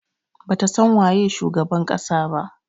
Bata san waye shugaban kasa ba.